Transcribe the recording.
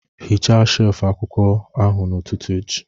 Hichaa shelf akwụkwọ ahụ n'ụtụtụ echi